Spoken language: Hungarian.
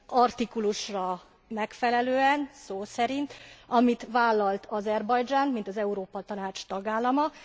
Artikulusra megfelelően, szó szerint, amit vállalt Azerbajdzsán mint az Európa Tanács tagállama.